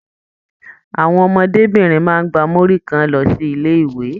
Àwọn ọmọdébinrin máa n gbà muri kan lọ sí ilé ìwé.